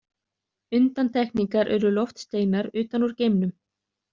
Undantekningar eru loftsteinar utan úr geimnum.